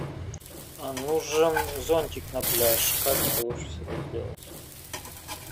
нужен зонтик на пляж как это лучше всего сделать